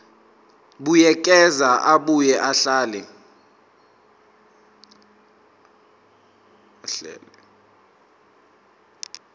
buyekeza abuye ahlele